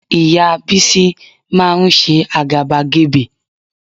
Ìyá Bísí máa ń ṣe àgàbàgebè